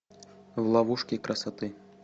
в ловушке красоты